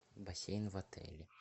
бассейн в отеле